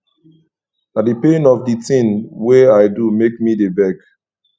na di pain of di tin wey i do make me dey beg